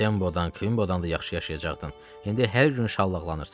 Sembodan, Kumbodan da yaxşı yaşayacaqdın, indi hər gün şallaqlanırsan.